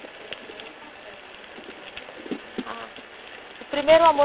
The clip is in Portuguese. Seu primeiro paquerinha, seu primeiro beijo? Ah, o primeiro amor